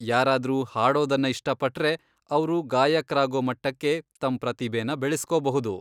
ಯಾರಾದ್ರೂ ಹಾಡೋದನ್ನ ಇಷ್ಟಪಟ್ರೆ, ಅವ್ರು ಗಾಯಕ್ರಾಗೋ ಮಟ್ಟಕ್ಕೆ ತಮ್ ಪ್ರತಿಭೆನ ಬೆಳೆಸ್ಕೋಬಹುದು.